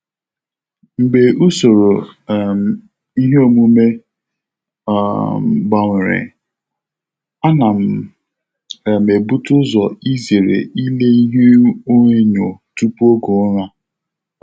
Mgbe usoro um iheomume um m gbanwere, a na um m ebute ụzọ izere ile ihuenyo tupu oge ụra.